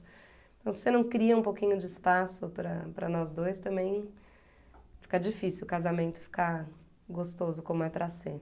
Então se você não cria um pouquinho de espaço para para nós dois, também fica difícil o casamento ficar gostoso como é para ser